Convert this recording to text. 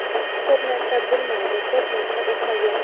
Ko‘p narsa bilmaydi, ko‘p narsa o‘qimagan.